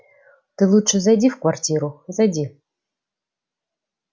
ты лучше зайди в квартиру зайди